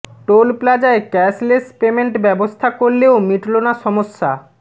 toll প্লাজায় cashless payment ব্যবস্থা করলেও মিটল না সমস্যা